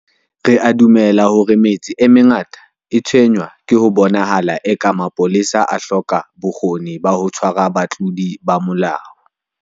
Re a dumela hore metse e mengata e tshwenngwa ke ho bonahalang eka mapolesa a hloka bokgoni ba ho tshwara batlodi ba molao.